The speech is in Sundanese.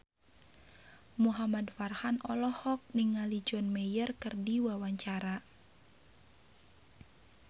Muhamad Farhan olohok ningali John Mayer keur diwawancara